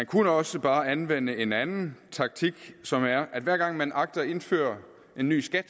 kunne også bare anvende en anden taktik som er at hver gang man agter at indføre en ny skat